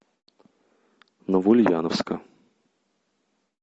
новоульяновска